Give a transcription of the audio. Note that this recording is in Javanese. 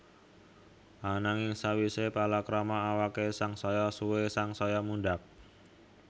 Ananging sawisé palakrama awaké sangsaya suwé sangsaya mundhak